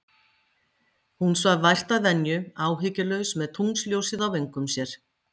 Hún svaf vært að venju, áhyggjulaus, með tunglsljósið á vöngum sér.